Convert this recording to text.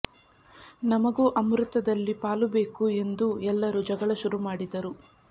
ನಮಗೂ ಅಮ್ರುತದಲ್ಲಿ ಪಾಲು ಬೇಕು ಎಂದು ಎಲ್ಲರು ಜಗಳ ಶುರು ಮಾಡಿದರು